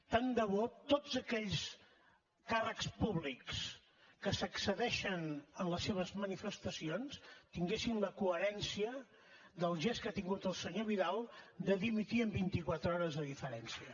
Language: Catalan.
tant de bo tots aquells càrrecs públics que s’excedeixen en les seves manifestacions tinguessin la coherència del gest que ha tingut el senyor vidal de dimitir en vint i quatre hores de diferència